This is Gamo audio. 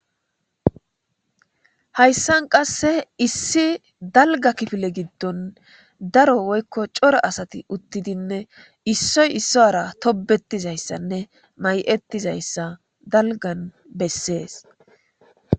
hayssan qasse issi dalga kifile giddon daro woykko cora asati uttidinne issoy issora tobettizayssanne may7ettizayssa dalgan bessees